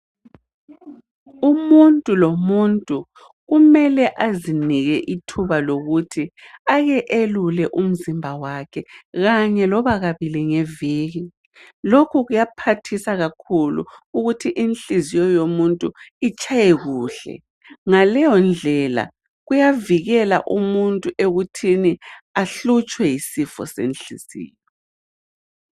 Umuntu lomuntu kumele azinike ithuba lokuthi Ake elule umzimba wakhe ,Kanye loba kabili ngeviki .Lokhu kuyaphathisa kakhulu ukuthi Inhliziyo yomuntu itshaye kuhle ,ngaleyondlela kuyavikela umuntu ekuthini ahlutshwe yisifo senhliziyo.